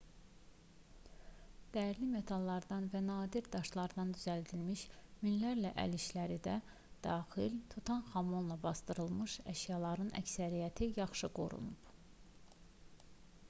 dəyərli metallardan və nadir daşlardan düzəldilmiş minlərlə əl işləri də daxil tutanxamonla basdırılmış əşyaların əksəriyyəti yaxşı qorunub